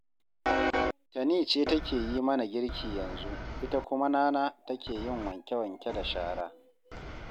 Tani ce take yi mana girki yanzu, ita kuma Nana take yin wanke-wanke da shara